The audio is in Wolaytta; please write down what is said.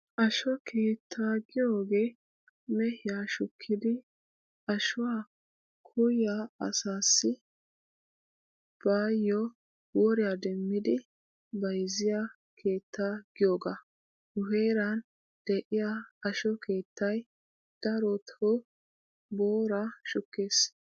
Asho keettaa giyoogee mehiyaa shukkidi ashuwaa koyyiyaa asaassi baayyo woriyaa demmidi bayzziyaa keetta giyoogaa. Nu heeran de'iyaa asho keettay darotoo booraa shukkees.